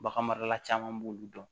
Bagan marala caman b'olu dɔn